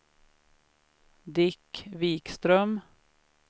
Dick Wikström